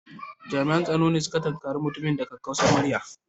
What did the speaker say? Jami'an tsaro sun tunkare mutumin da kakkausar murya